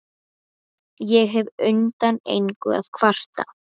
Ég hef undan engu að kvarta.